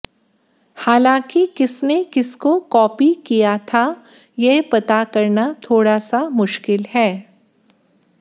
हालांकि किसने किसको कॉपी किया था ये पता करना थोड़ा सा मुश्किल है